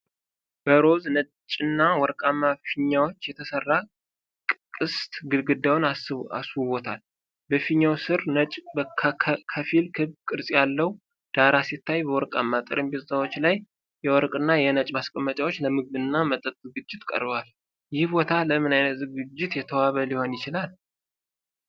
በሮዝ፣ ነጭና ወርቃማ ፊኛዎች የተሠራ ቅስት ግድግዳውን አስውቦታል። በፊኛው ስር ነጭ ከፊል ክብ ቅርጽ ያለው ዳራ ሲታይ፣ በወርቃማ ጠረጴዛዎች ላይ የወርቅና የነጭ ማስቀመጫዎች ለምግብና መጠጥ ዝግጅት ቀርበዋል፤ ይህ ቦታ ለምን ዓይነት ዝግጅት የተዋበ ሊሆን ይችላል?